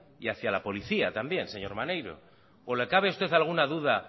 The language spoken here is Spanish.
y hacia la policía también señor maneiro o le cabe a usted alguna duda